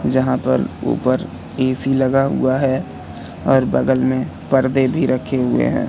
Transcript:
जहां पर ऊपर ए_सी लगा हुआ है और बगल में पर्दे भी रखे हुए हैं।